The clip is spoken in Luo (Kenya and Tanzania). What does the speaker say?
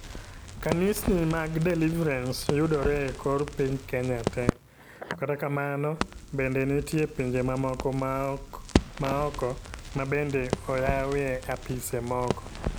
Kanisni mag Deliverance yudore e kor piny Kenya te. To kata kamano bende nitie pinje mamoko maoko mabende oyawie apise moko